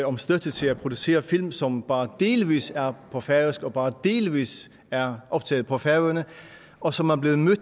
om støtte til at producere film som bare delvis er på færøsk og bare delvis er optaget på færøerne og som er blevet